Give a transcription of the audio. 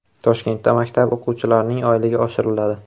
Toshkentda maktab o‘qituvchilarining oyligi oshiriladi.